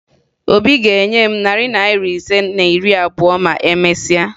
Obi ga-enye m narị naịra ise na iri abụọ ma e mesia